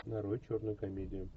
нарой черную комедию